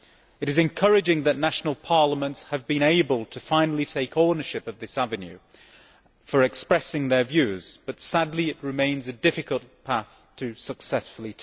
It is encouraging that national parliaments have been able to finally take ownership of this avenue for expressing their views, but sadly it remains a difficult path to take successfully.